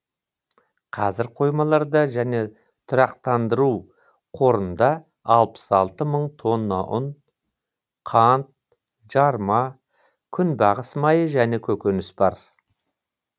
қазір қоймаларда және тұрақтандыру қорында алпыс алты мың тонна ұн қант жарма күнбағыс майы және көкөніс бар